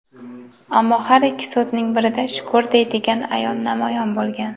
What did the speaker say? ammo har ikki so‘zining birida "shukr" deydigan ayol namoyon bo‘lgan.